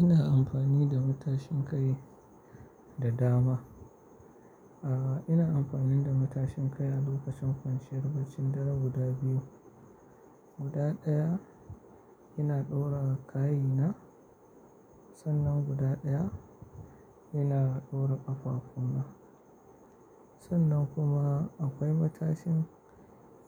Ina amfani da matashin kai da dama. A'a, ina amfani da matashin kai a lokacin kwanciyar bacci. Dara guda biyu. Guda ɗaya ina ɗora kayi na. Sannan guda ɗaya ina ɗora ƙafafu na. Sannan kuma akwai matashin,